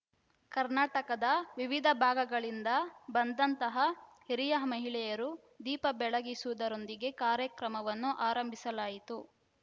ಕರ್ನಾಟಕದ ವಿವಿಧ ಭಾಗಗಳಿಂದ ಬಂದಂತಹ ಹಿರಿಯ ಮಹಿಳೆಯರು ದೀಪ ಬೆಳಗಿಸುವುದರೊಂದಿಗೆ ಕಾರ್ಯಕ್ರಮವನ್ನು ಆರಂಭಿಸಲಾಯಿತು